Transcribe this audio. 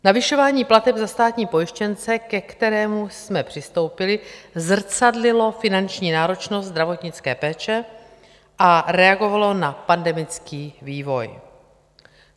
Navyšování plateb za státní pojištěnce, ke kterému jsme přistoupili, zrcadlilo finanční náročnost zdravotnické péče a reagovalo na pandemický vývoj.